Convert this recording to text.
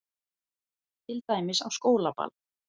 Til dæmis á skólaball.